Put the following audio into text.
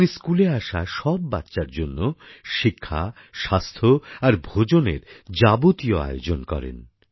তিনি স্কুলে আসা সব বাচ্চার জন্য শিক্ষা স্বাস্থ্য আর ভোজনের যাবতীয় আয়োজন করেন